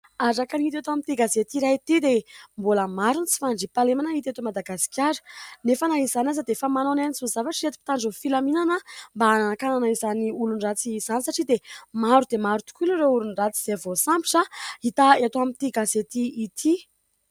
Araka ny hita eto amin'ity gazety iray ity dia mbola maro ny tsy fandriam-pahalemana hita eto Madagasikara nefa na izany aza dia efa manao ny ainy tsy ho zavatra ireto mpitandron'ny filaminana mba hanakanana izany olon-dratsy izany satria dia maro dia maro tokoa ireo olon-dratsy izay voasambotra hita eto amin'ity gazety ity.